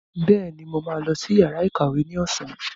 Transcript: Bẹ́ẹ̀ni, mo ma lọ sí yàrá ìkàwé ní ọ̀sán